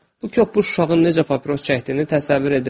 Bu köpük uşağın necə papiros çəkdiyini təsəvvür edirəm.